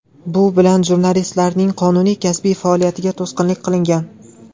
Bu bilan jurnalistlarning qonuniy kasbiy faoliyatiga to‘sqinlik qilingan”.